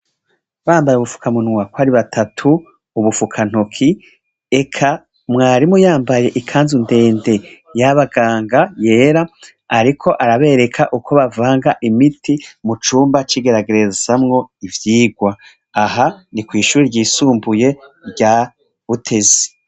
Bambaye ubufukamunwa ukwari batatu ubufuka ntoki eka mwarimu yambaye ikanzu ndendeyabaganga yera ariko arabereka uko bavanga imiti mucimba cigeragerezamwo ivyirwa aha nikwishure ryisumbuye rya butezi